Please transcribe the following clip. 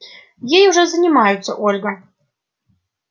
ей уже занимаются ольга